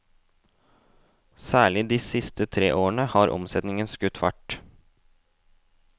Særlig de siste tre årene har omsetningen skutt fart.